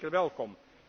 Dat is zeker welkom.